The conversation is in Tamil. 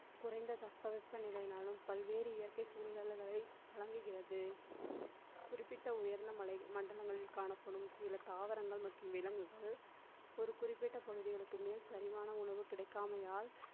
குறைந்த தட்பவெட்ப நிலையினாலும் பல்வேறு இயற்கை சூழல்களில் விளங்குகிறது. குறிப்பிட்ட உயர்ந்த மலை மண்டலங்களில் காணப்படும். சில தாவரங்கள் மற்றும் விலங்குகள் ஒரு குறிப்பிட்ட பகுதியில் மேல் சரியான உணவு கிடைக்காமையால்